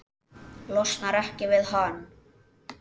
Losnar ekki við hann.